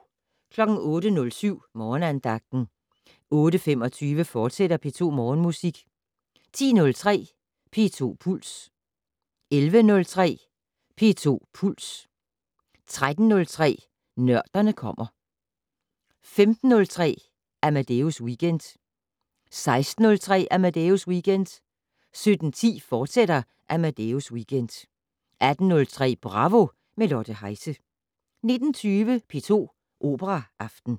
08:07: Morgenandagten 08:25: P2 Morgenmusik, fortsat 10:03: P2 Puls 11:03: P2 Puls 13:03: Nørderne kommer 15:03: Amadeus Weekend 16:03: Amadeus Weekend 17:10: Amadeus Weekend, fortsat 18:03: Bravo - med Lotte Heise 19:20: P2 Operaaften